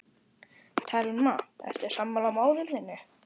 Telma: Ertu sammála móður þinni?